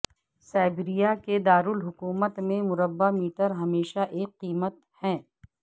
Siberia کے دارالحکومت میں مربع میٹر ہمیشہ ایک قیمت ہے